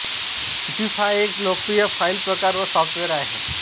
zip हा एक लोकप्रिय फाईल प्रकार व सॉफ्टवेर आहे